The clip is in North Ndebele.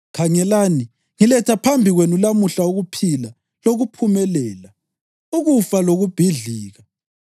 Khangelani, ngiletha phambi kwenu lamuhla ukuphila lokuphumelela, ukufa lokubhidlika.